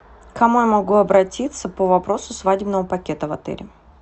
к кому я могу обратиться по вопросу свадебного пакета в отеле